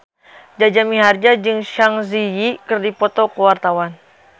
Jaja Mihardja jeung Zang Zi Yi keur dipoto ku wartawan